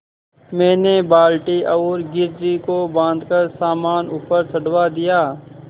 मैंने बाल्टी और घिर्री को बाँधकर सामान ऊपर चढ़वा दिया